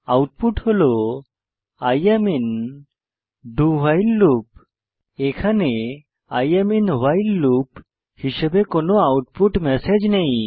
I am in do while loop এখানে I am in while loop হিসাবে কোনো output message নেই